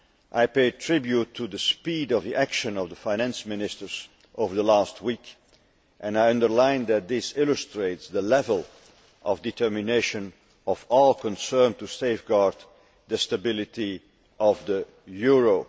I pay tribute to the speed of the action of the Finance Ministers over the last week and I underline that this illustrates the level of determination of our concern to safeguard the stability of the euro.